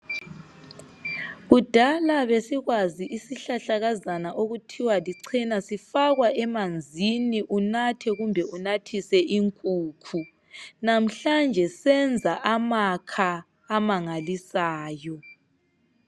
Kudala besikwazi isihlahlakazana okuthiwa lichena sifakwa emanzini unathe kumbe unathise inkukhu namhlanje senza amakha amangalisayo.